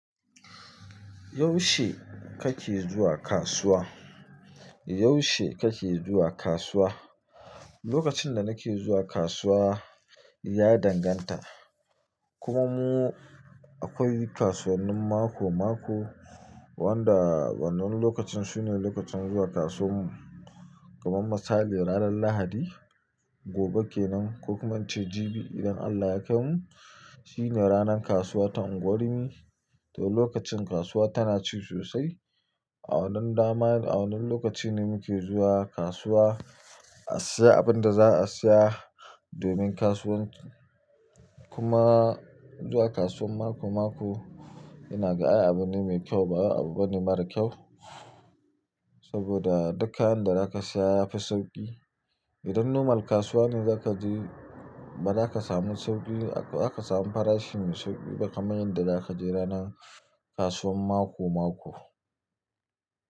Yaushe kake zuwa kasuwa? Yaushe kake zuwa kasuwa? Lokacin da nake zuwa kasuwa ya danganta. Kuma mu akwai kasuwannin mako-mako wanda wannan lokacin sune lokacin zuwa kasuwan mu. Kaman misali ranar Lahadi, gobe kenan, ko kuma in ce jibi idan Allah ya kai mu, shine ranar kasuwa ta unguwar rimi. To lokacin kasuwa tana ci sosai. A wannan dama, a wannan lokacin ne muke zuwa kasuwa a siya abin da za a siya domin kasuwan. Kuma zuwa kasuwan mako-mako, ina ga ai abu ne mai kyau, ba wai abu bane mara kyau. Saboda duk kayan da zaka siya yafi sauki. Idan normal kasuwa ne zaka je, baza ka samu sauki, ba zaka samu farashi mai sauki, ba kamar yadda zaka je ranan kasuwan mako-mako.